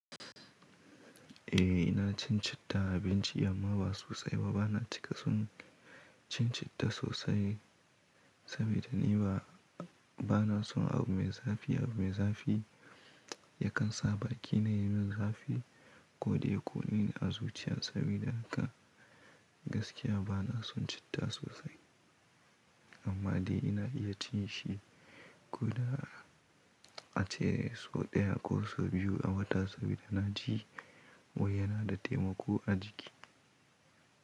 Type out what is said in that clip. Eh ina cin citta a abinci amma ba sosai ba, bana cika son cin citta sosai sabida ni ba, bana son abu mai zafi, Abu mai zafi yakan sa bakina yayi min zafi, ko dai ya ƙone ni a zuciya sabida haka, gaskiya bana son citta sosai. Amma dai ina iya cin shi ko da a ce sau ɗaya ko sau biyu a wata sabida na ji wai yana da taimako a jiki.